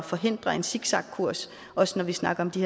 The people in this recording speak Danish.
forhindre en zigzagkurs også når vi snakker om de